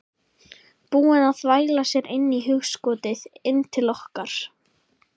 Búin að þvæla sér inn í hugskotið, inn til okkar